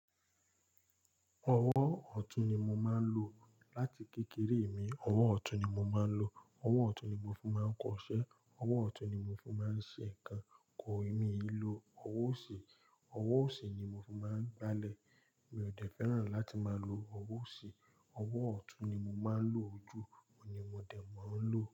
Ọwọ́ ọ̀tún ni mo máa ń lo. Láti kékeré mi, ọwọ́ ọ̀tún ni mo máa ń lo. Ọwọ́ ọ̀tún ni mo fún máa ń kọṣẹ́. Ọwọ́ ọ̀tún ni mo fún máa ń ṣe nǹkan. Kọì, mi lò ọwọ́ òsì, ọwọ́ òsì ni mo fún máa ń gbálẹ̀. Mi ò dẹ fẹ́ràn láti máa lo ọwọ́ òsì. Ọwọ́ ọ̀tún ni mo máa ń lo jù, òun ni mo dẹ̀ mo ń lo.